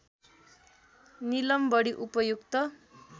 नीलम बढी उपयुक्त